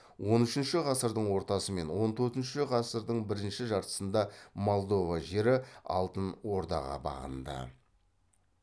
он үшінші ғасырдың ортасы мен он төртінші ғасырдың бірінші жартысында молдова жері алтын ордаға бағынды